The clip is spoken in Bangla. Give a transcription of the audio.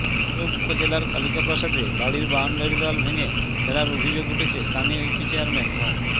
ভৈরব উপজেলার কালিকাপ্রসাদে বাড়ির বাউন্ডারি দেয়াল ভেঙে ফেলার অভিযোগ উঠেছে স্থানীয় ইউপি চেয়ারম্যান মো